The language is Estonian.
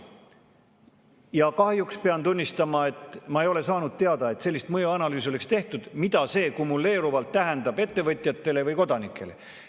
Ja kahjuks pean tunnistama, et ma ei ole saanud teada, et oleks tehtud sellist mõjuanalüüsi, mis näitaks, mida see kumuleeruvalt tähendab ettevõtjatele ja kodanikele.